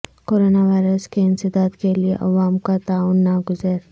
corona virus کے انسداد کیلئے عو ام کا تعاون ناگزیر